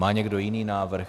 Má někdo jiný návrh?